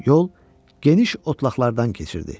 Yol geniş otlaqlardan keçirdi.